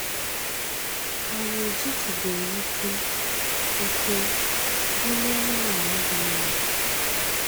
Anyị ejitubeghị ike ike bulie anụmanụ dị ime